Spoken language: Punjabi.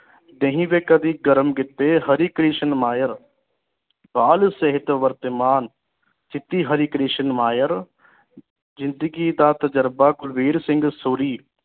ਦਹੀ ਵੀ ਕਦੇ ਗਰਮ ਕੀਤੇ ਹਰੀ ਕ੍ਰਿਸ਼ਨ ਮਾਇਰ ਬਾਲ ਸਿਹਤ ਵਰਤਮਾਨ ਚਿੱਟੀ ਹਰਿ ਕ੍ਰਿਸ਼ਨ ਮਾਇਰ ਜ਼ਿੰਦਗੀ ਦਾ ਤਜੁਰਬਾ ਕੁਲਬੀਰ ਸਿੰਘ ਸੂਰੀ